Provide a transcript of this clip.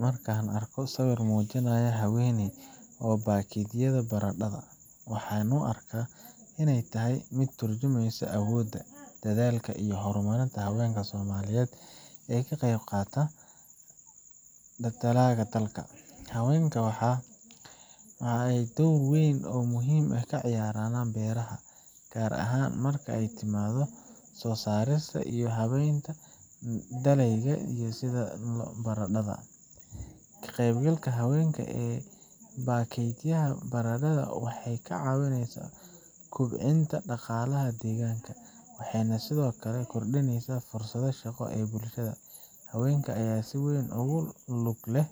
Marka aan arko sawir muujinaya haweeney oo baakadaysa baradhada, waxaan u arkaa inay tahay mid ka turjumaysa awoodda, dadaalka, iyo horumarka haweenka Soomaaliyeed ee ka qeyb qaadanaya dhaqaalaha dalka. Haweenka ayaa door muhiim ah ka ciyaarana beeraha, gaar ahaan marka ay timaaddo soo saarista iyo habeynta dalagyada sida baradhada. Ka qaybgalka haweenka ee baakaydaha baradhada waxay ka caawisaa kobcinta dhaqaalaha deegaanka, waxayna sidoo kale kordhisaa fursadaha shaqo ee bulshada. Haweenka ayaa si weyn ugu lug leh